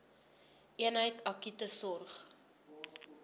eenheid akute sorg